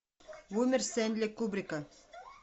бумер стэнли кубрика